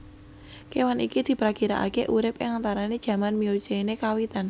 Kewan iki diprakirakake urip ing antarane jaman Miocene kawitan